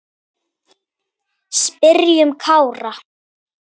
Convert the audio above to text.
Spyrjum Kára.